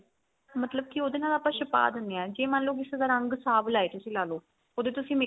ਮਤਲਬ ਕੀ ਉਹਦੇ ਨਾਲ ਆਪਾ ਛਪਾ ਦਿਨੇ ਆ ਜੇ ਮੰਨ ਲੋ ਕਿਸੇ ਦਾ ਰੰਗ ਸਵਲਾ ਏ ਤੁਸੀਂ ਲਾਲੋ ਉਹਦੇ ਤੁਸੀਂ